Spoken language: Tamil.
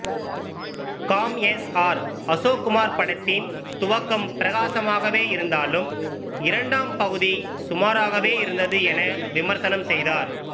காம் எஸ் ஆர் அசோக்குமார் படத்தின் துவக்கம் பிரகாசமாகவே இருந்தாலும் இரண்டாம் பகுதி சுமாராகவே இருந்தது என விமர்சனம் செய்தார்